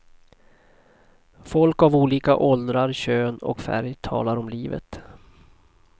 Folk av olika åldrar, kön och färg talar om livet.